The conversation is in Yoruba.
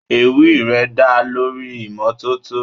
Ewì rẹ̀ dá lórí ìmọ́tótó.